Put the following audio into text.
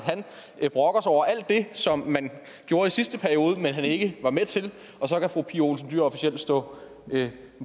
han brokker sig over alt det som man gjorde i sidste periode og som man ikke var med til og så kan fru pia olsen dyhr officielt stå